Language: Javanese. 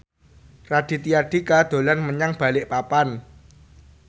Raditya Dika dolan menyang Balikpapan